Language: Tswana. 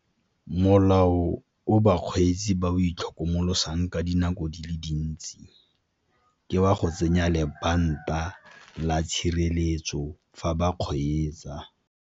Molao o bakgweetsi ba o itlhokomolosang ka dinako di le dintsi, ke wa go tsenya lebanta la tshireletso fa ba kgweetsa.